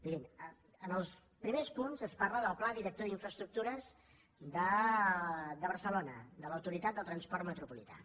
mirin en els primers punts es parla del pla director d’infraestructures de barcelona de l’autoritat del transport metropolità